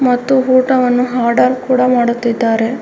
ಮತ್ತು ಊಟವನ್ನು ಆರ್ಡರ್ ಕೂಡ ಮಾಡುತ್ತಿದ್ದಾರೆ .